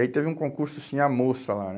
E aí teve um concurso assim, a moça lá, né?